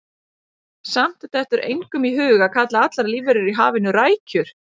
Samt dettur engum í hug að kalla allar lífverur í hafinu rækjur.